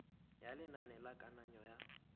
ya lenane la kananyo ya